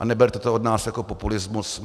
A neberte to od nás jako populismus.